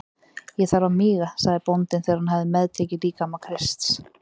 Ég þarf að míga, sagði bóndinn þegar hann hafði meðtekið líkama Krists.